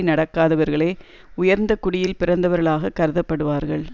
நடக்காதவர்களே உயர்ந்த குடியில் பிறந்தவர்களாகக் கருதப்படுவார்கள்